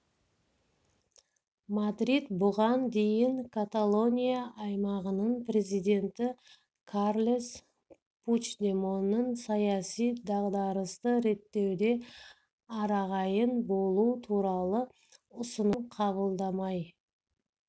мадрид бұған дейін каталония аймағының президенті карлес пучдемоннің саяси дағдарысты реттеуде арағайын болу туралы ұсынысын қабылдамай